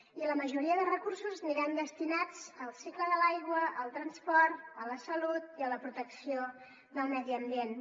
i la majoria de recursos aniran destinats al cicle de l’aigua al transport a la salut i a la protecció del medi ambient